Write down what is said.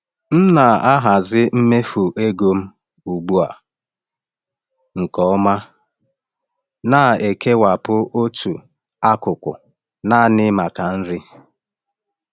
M na-ahazi mmefu ego m ugbu a nke ọma, na-ekewapụta otu akụkụ naanị maka nri.